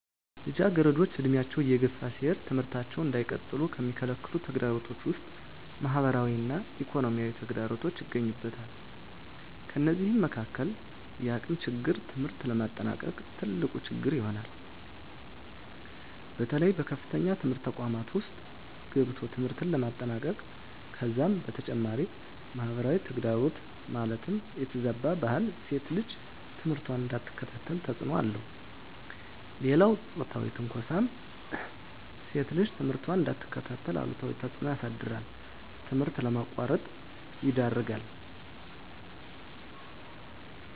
ልጃገረዶች ዕድሜያቸው እየገፋ ሲሄድ ትምህርታቸውን እንዳይቀጥሉ ከሚከለክሉ ተግዳሮቶች ውስጥ ማህበራዊ እና ኢኮኖሚያዊ ተግዳሮቶች ይገኙበታል። ከነዚህም መካካል የአቅም ችግር ትምህርት ለማጠናቀቅ ትልቁ ችግር ይሆናል። በተለይ በከፍተኛ ትምህርት ተቋማት ውስጥ ገብቶ ትምህርትን ለማጠናቀቅ ከዛም በተጨማሪ ማህበራዊ ተግዳሮት ማለትም የተዛባ ባህል ሴት ልጅ ትምህርቷን እንዳትከታተል ተፅዕኖ አለው። ሌላው ፆታዊ ትንኳሳም ሴት ልጅ ትምህርቷን እንዳትከታተል አሉታዊ ተፅዕኖ ያሳድራል ትምህርት ለማቋረጥ ይዳርጋል።